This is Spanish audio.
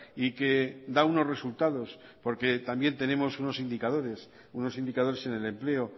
y que da unos resultados porque también tenemos unos indicadores unos indicadores en el empleo